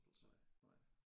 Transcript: Nej nej